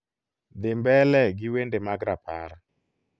dhi mbele gi wende mag rapar